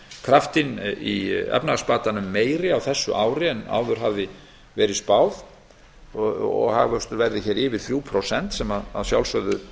kraftinn í efnahagsbatanum meiri á þessu ári en áður hafði verið spáð að hagvöxtur verði hér yfir þrjú prósent sem að sjálfsögðu